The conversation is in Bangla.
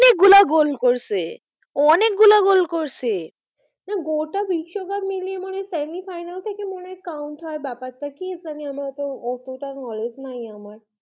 অনেক গুলো গোল করেছে ও অনেক গুলো গোল করেছে গোটা বিশ্ব কাপ মিলিয়ে মনে হয় semi final থেকে মনে হয় count ব্যাপার টা কি জানি আমার অতো অতটা knowledge নেই আমার।